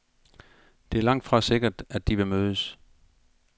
Det er langtfra sikkert, at de vil mødes.